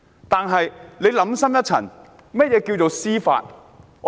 但想深一層，甚麼是司法公義呢？